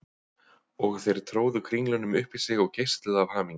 Og þeir tróðu kringlunum upp í sig og geisluðu af hamingju.